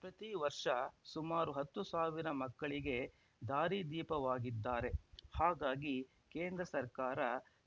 ಪ್ರತಿ ವರ್ಷ ಸುಮಾರು ಹತ್ತು ಸಾವಿರ ಮಕ್ಕಳಿಗೆ ದಾರಿದೀಪವಾಗಿದ್ದಾರೆ ಹಾಗಾಗಿ ಕೇಂದ್ರ ಸರ್ಕಾರ